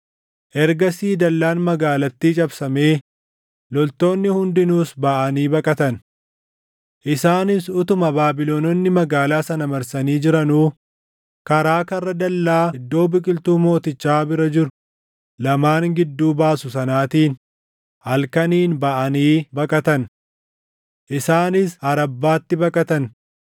Ergasii dallaan magaalattii cabsamee loltoonni hundinuus baʼanii baqatan. Isaanis utuma Baabilononni magaalaa sana marsanii jiranuu karaa karra dallaa iddoo biqiltuu mootichaa bira jiru lamaan gidduu baasu sanaatiin halkaniin baʼanii baqatan. Isaanis Arabbaatti baqatan;